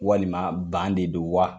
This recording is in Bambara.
Walima ban de don wa?